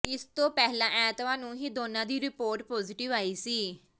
ਇਸ ਤੋਂ ਪਹਿਲਾ ਐਤਵਾਰ ਨੂੰ ਇਹ ਦੋਨਾਂ ਦੀ ਰਿਪੋਰਟ ਪੋਜ਼ੇਟਿਵ ਆਈ ਸੀ